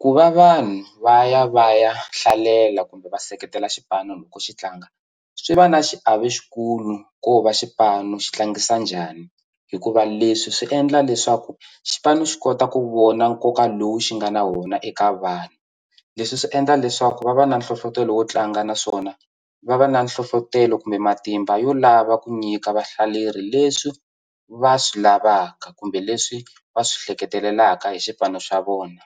Ku va vanhu va ya va ya hlalela kumbe va seketela xipano loko xi tlanga swi va na xiave xikulu ko va xipano xi tlangisa njhani hikuva leswi swi endla leswaku xipano xi kota ku vona nkoka lowu xi nga na wona eka vanhu leswi swi endla leswaku va va na nhlohlotelo wo tlanga naswona va va na nhlohlotelo kumbe matimba yo lava ku nyika vahlaleri leswi va swi lavaka kumbe leswi va swi ehleketelelaka hi xipano xa vona